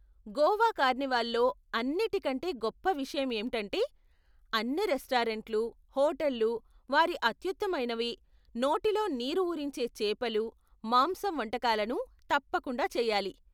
గోవా కార్నివాల్లో అన్నిటి కంటే గొప్ప విషయం ఏమిటంటే, అన్ని రెస్టారెంట్లు, హోటళ్ళు వారి అత్యుత్తమైనవి, నోటిలో నీరు ఊరించే చేపలు, మాంసం వంటకాలను తప్పకుండా చేయాలి.